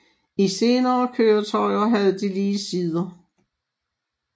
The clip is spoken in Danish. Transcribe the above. I senere køretøjer havde de lige sider